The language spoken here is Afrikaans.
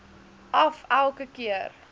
af elke keer